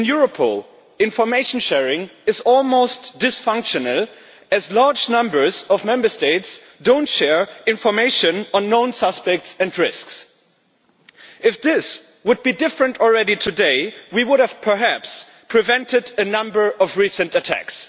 In Europol, information sharing is almost dysfunctional, as large numbers of Member States do not share information on known suspects and risks. If this were different today, we would perhaps have prevented a number of recent attacks.